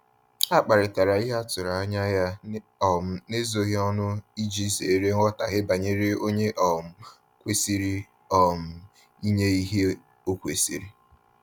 Ha kparitara ihe atụrụ anya ya um n'ezoghi ọnụ iji zere nghọtaghe banyere onye um kwesịrị um inye ihe o kwesiri